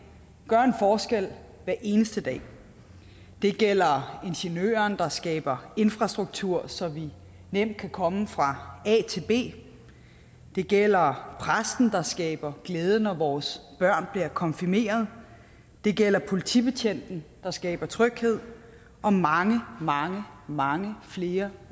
gøre en forskel hver eneste dag det gælder ingeniøren der skaber infrastruktur så vi nemt kan komme fra a til b det gælder præsten der skaber glæde når vores børn bliver konfirmeret det gælder politibetjenten der skaber tryghed og mange mange mange flere